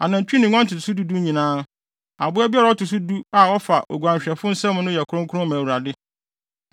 Anantwi ne nguan no ntotoso du du nyinaa, aboa biara a ɔto so du a ɔfa oguanhwɛfo nsam no yɛ kronkron ma Awurade.